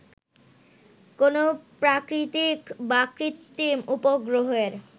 কোন প্রাকৃতিক বা কৃত্রিম উপগ্রহের